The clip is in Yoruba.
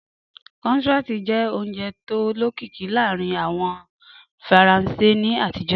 Croissant jẹ́ oúnjẹ tó lókìkí láàárín àwọn Faransé ní àtijó.